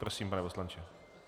Prosím, pane poslanče.